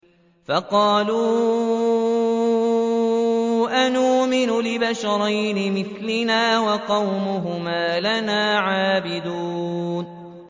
فَقَالُوا أَنُؤْمِنُ لِبَشَرَيْنِ مِثْلِنَا وَقَوْمُهُمَا لَنَا عَابِدُونَ